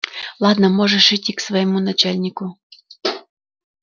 ладно можешь идти к своему начальнику